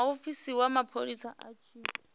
muofisi wa mapholisa a tshi